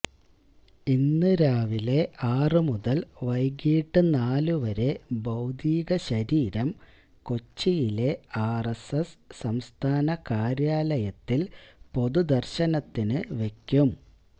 ഇന്ന് രാവിലെ ആറു മുതൽ വൈകിട്ട് നാലുവരെ ഭൌതിക ശരീരം കൊച്ചിയിലെ ആർഎസ്എസ് സംസ്ഥാന കാര്യാലയത്തിൽ പൊതുദർശനത്തിന് വെയ്ക്കും